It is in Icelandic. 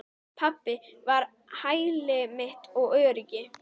Pabbi var hæli mitt og öryggi.